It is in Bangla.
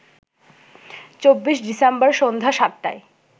২৪ ডিসেম্বর সন্ধ্যা ৭টায়